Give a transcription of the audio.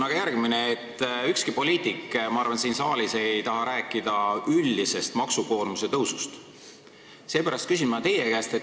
Ma arvan, et ükski poliitik siin saalis ei taha rääkida üldisest maksukoormuse tõusust, seepärast ma küsin teie käest.